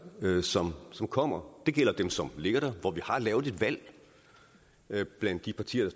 som som kommer det gælder dem som ligger der hvor vi har lavet et valg blandt de partier